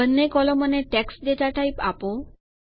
બંને કોલમોને text data type આપો